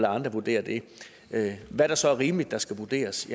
andre vurdere det hvad det så er rimeligt der skal vurderes